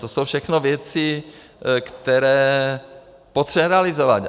To jsou všechno věci, které potřebujeme realizovat.